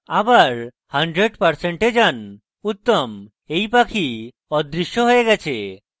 আবার 100% এ যান উত্তম এই পাখি অদৃশ্য হয়ে গেছে